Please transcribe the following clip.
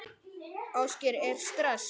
Ásgeir: Er stress?